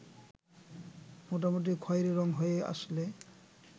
মোটামুটি খয়েরি রং হয়ে আসলে